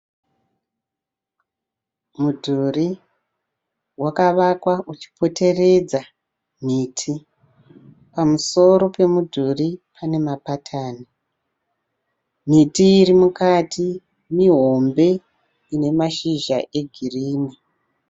Mudhuri wakavakwa uchipoteredza miti. Pamusoro pemudhuri pane mapatani. Miti irimukati mihombe ine mashizha egirinhi.